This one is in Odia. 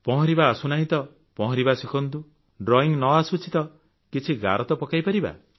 ପହଁରିବା ଆସୁନାହିଁ ତ ପହଁରିବା ଶିଖନ୍ତୁ ଡ୍ରଇଁ ନଆସୁଛି ତ କିଛି ଗାର ତ ପକାଇ ପାରିବା